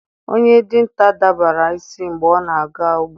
Onye dinta dabara nsi mgbe ọ na-aga ugbo.